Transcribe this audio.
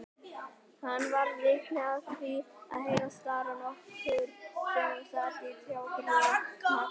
Hann varð vitni af því að heyra starra nokkurn sem sat á trjágrein hneggja.